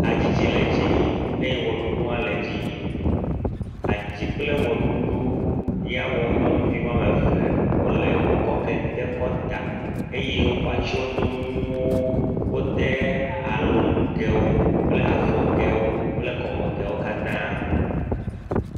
Hadzidzi le edzi yim eye ʋeɖuɖu hã le edzi yim. Hadzidzi kple wɔɖuɖu ya wɔm nyɔnuvi wo ame ve wole. Wokɔ kente kɔtà. Eye wokɔ atsyɔ̃donuwo, wode alɔnugɛwo kple afɔgɛwo kple kɔmegɛwo katã.